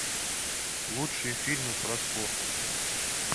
лучшие фильмы про спорт